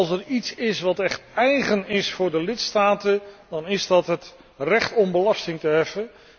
Als er iets is wat echt eigen is aan de lidstaten, dan is dat het recht om belasting te heffen.